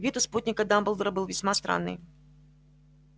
вид у спутника дамблдора был весьма странный